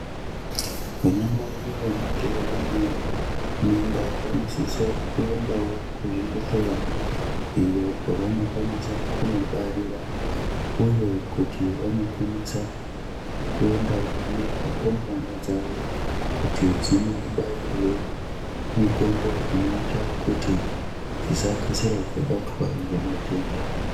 Vana mai vanenge vane mimba vanosisa kuendawo kuzvibhedhleya iyo kwavano kwanisa kunobarira uye kuti vanokwanisa kuendawo nerumbwana dzawo kuti dzinobairwe mitombo inoita kuti dzisakasire dzabatwa ngematenda.